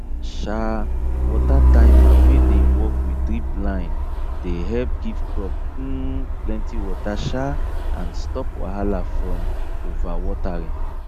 um water timer wey dey work with drip line de help give crop um plenty water um and stop wahala from overwatering